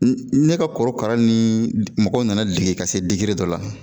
Ne ka korokara ni mɔgɔw nana dege ka se dɔ la.